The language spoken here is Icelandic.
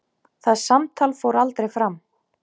Það samtal fór aldrei fram.